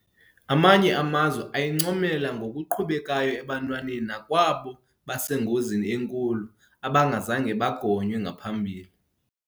Amanye amazwe ayincomela ngokuqhubekayo ebantwaneni nakwabo basengozini enkulu abangazange bagonywe ngaphambili.